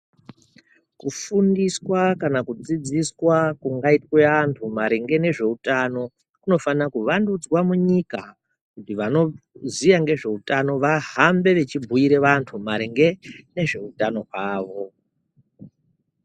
Kufundiswa kana kudzidziswa kungaita antu maringe nezvehutano kunofana kuwandudzwa munyika kuti vanoziva nezvehutano vahambe vechibhuire vantu maringe nezvehutano hwawo.